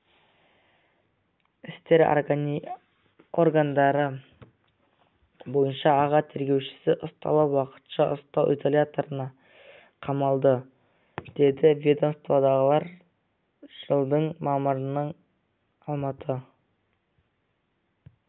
істер органдары бойынша аға тергеушісі ұсталып уақытша ұстау изоляторына қамалды деді ведомстводағылар жылдың мамырында алмалы